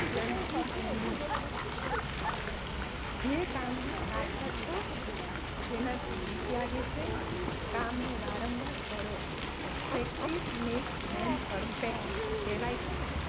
ગ્રંથી જમણે જે કામમાં કાચાં છો જેનાથી બીક લાગે છે કામને વારંવાર કરો practise makes men perfect કહેવાય છે ને,